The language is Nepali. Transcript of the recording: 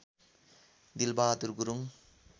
दिलबहादुर गुरुङ